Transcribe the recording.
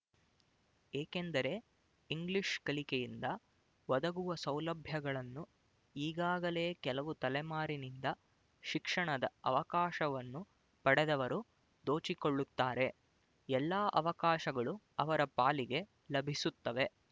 ಏಕೆಂದರೆ ಇಂಗ್ಲಿಶ್ ಕಲಿಕೆಯಿಂದ ಒದಗುವ ಸೌಲಭ್ಯಗಳನ್ನು ಈಗಾಗಲೇ ಕೆಲವು ತಲೆಮಾರಿನಿಂದ ಶಿಕ್ಷಣದ ಅವಕಾಶವನ್ನು ಪಡೆದವರು ದೋಚಿಕೊಳ್ಳುತ್ತಾರೆ ಎಲ್ಲ ಅವಕಾಶಗಳು ಅವರ ಪಾಲಿಗೆ ಲಭಿಸುತ್ತವೆ